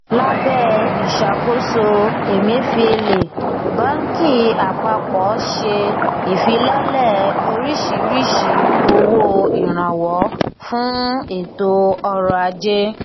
lábẹ ìṣàkóso emefiele bánkì àpapọ ṣe ìfilọlẹ oríṣiríṣi owó ìrànwọ fún ètò ọrọajé